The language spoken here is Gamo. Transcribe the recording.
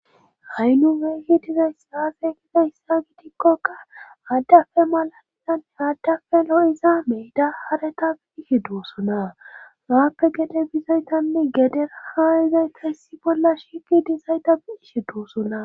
Ha' nu we hi dizaysaase giza hyssa gidikkokka addafe malalinanne addafe lo7izaa mey da haretabi ihe doosona waappe gede bizaytanne gedera hawayezayta hissi bolla shiki dizayta biishe doosona.